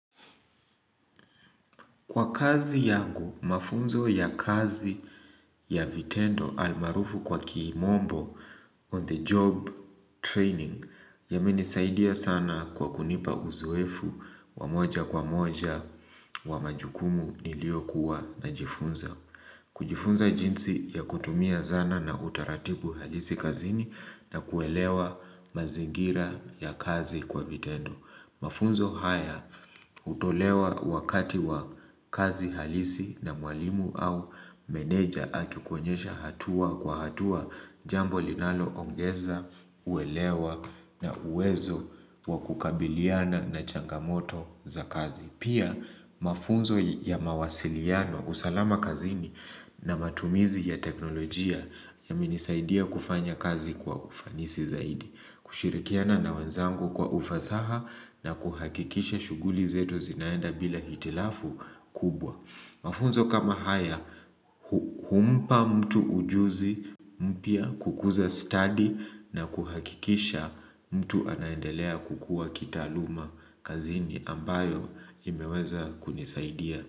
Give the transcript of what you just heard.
Kwa kazi yangu, mafunzo ya kazi ya vitendo almaarufu kwa kimombo on the job training yamenisaidia sana kwa kunipa uzoefu wa moja kwa moja wa majukumu nilio kuwa najifunza. Kujifunza jinsi ya kutumia zana na utaratibu halisi kazini na kuelewa mazingira ya kazi kwa vitendo. Mafunzo haya hutolewa wakati wa kazi halisi na mwalimu au meneja aki kuonyesha hatua kwa hatua jambo linalo ongeza, uelewa na uwezo wa kukabiliana na changamoto za kazi. Pia mafunzo ya mawasiliano kusalama kazini na matumizi ya teknolojia yamenisaidia kufanya kazi kwa ufanisi zaidi. Kushirikiana na wenzangu kwa ufasaha na kuhakikisha shuguli zetu zinaenda bila hitilafu kubwa. Mafunzo kama haya, humpa mtu ujuzi mpya kukuza study na kuhakikisha mtu anaendelea kukuwa kitaaluma kazini ambayo imeweza kunisaidia.